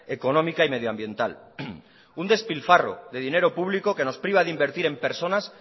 económica y medioambiental un despilfarro de dinero público que nos priva de invertir en personas